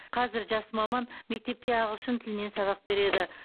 қазір жас маман мектепте ағылшын тілінен сабақ береді